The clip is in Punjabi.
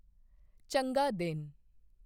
ਚੰਗਾ ਦਿਨ